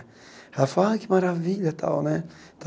Ela fala ai que maravilha e tal né.